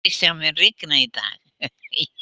Kristjón, mun rigna í dag?